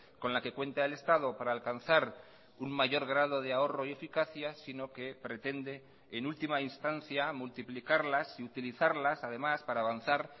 con la que cuenta el estado para alcanzar un mayor grado de ahorro y eficacia sino que pretende en última instancia multiplicarlas y utilizarlas además para avanzar